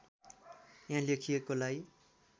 यहाँ लेखिएको लाई